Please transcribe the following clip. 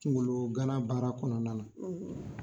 Kungolo gana baara kɔnɔna na.